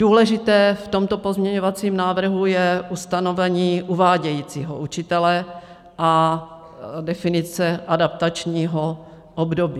Důležité v tomto pozměňovacím návrhu je ustanovení uvádějícího učitele a definice adaptačního období.